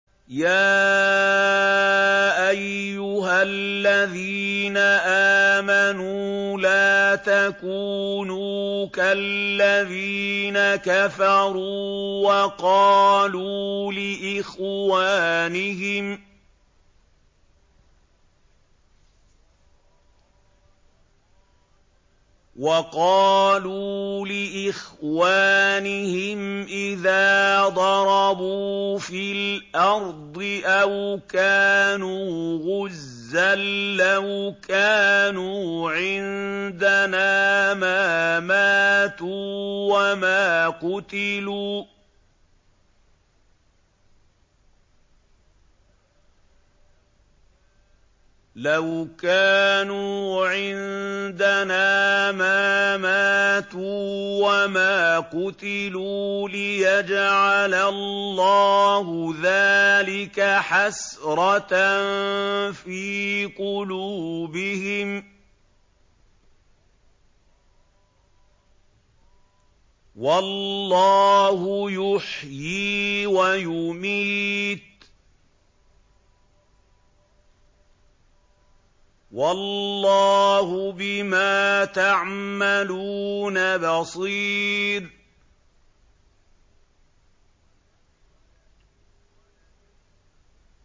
يَا أَيُّهَا الَّذِينَ آمَنُوا لَا تَكُونُوا كَالَّذِينَ كَفَرُوا وَقَالُوا لِإِخْوَانِهِمْ إِذَا ضَرَبُوا فِي الْأَرْضِ أَوْ كَانُوا غُزًّى لَّوْ كَانُوا عِندَنَا مَا مَاتُوا وَمَا قُتِلُوا لِيَجْعَلَ اللَّهُ ذَٰلِكَ حَسْرَةً فِي قُلُوبِهِمْ ۗ وَاللَّهُ يُحْيِي وَيُمِيتُ ۗ وَاللَّهُ بِمَا تَعْمَلُونَ بَصِيرٌ